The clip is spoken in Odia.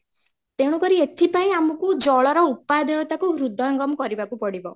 ତେଣୁକରି ଏଥିପାଇଁ ଆମକୁ ଜଳର ଉପଦେୟତା କୁ ହୃଦୟଙ୍ଗମ କରିବାକୁ ପଡିବ